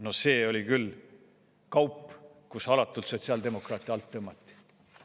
No see oli küll kaup, kus alatult sotsiaaldemokraate alt tõmmati.